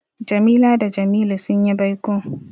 Jamila da Jamilu sun yi baiko.